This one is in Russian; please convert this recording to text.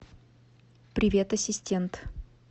привет ассистент